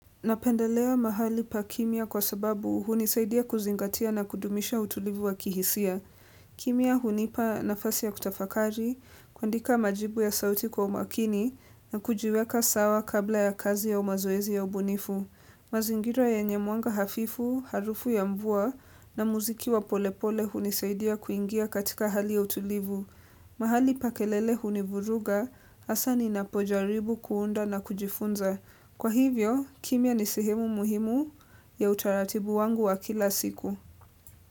Napendelea mahali pa kimya kwa sababu hunisaidia kuzingatia na kudumisha utulivu wa kihisia. Kimya hunipa nafasi ya kutafakari, kuandika majibu ya sauti kwa umakini na kujiweka sawa kabla ya kazi ya mazoezi ya ubunifu. Mazingira yenye mwanga hafifu, harufu ya mvua na muziki wa polepole hunisaidia kuingia katika hali ya utulivu. Mahali pa kelele hunivuruga hasa ninapojaribu kuunda na kujifunza. Kwa hivyo, kimya ni sehemu muhimu ya utaratibu wangu wa kila siku.